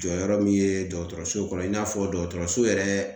Jɔyɔrɔ min ye dɔgɔtɔrɔso kɔnɔ, i n'a fɔ dɔgɔtɔrɔso yɛrɛ